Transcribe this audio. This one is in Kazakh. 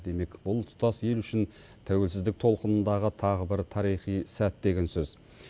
демек бұл тұтас ел үшін тәуелсіздік толқынындағы тағы бір тарихи сәт деген сөз